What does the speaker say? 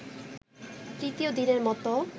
তৃতীয় দিনের মতো